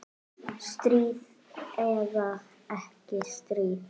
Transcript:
Stríð eða ekki stríð.